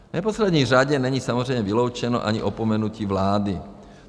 V neposlední řadě není samozřejmě vyloučeno ani opomenutí vlády.